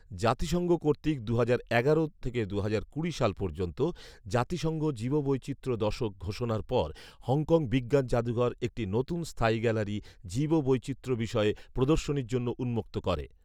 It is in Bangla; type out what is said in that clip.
জাতিসংঘ কর্তৃক দু'হাজার এগারো থেকে দু'হাজার কুড়ি সাল পর্যন্ত "জাতিসংঘ জীববৈচিত্র্য দশক" ঘোষণার পর হংকং বিজ্ঞান জাদুঘর একটি নতুন স্থায়ী গ্যালারি জীববৈচিত্র্য বিষয়ে প্রদর্শনীর জন্য উন্মুক্ত করে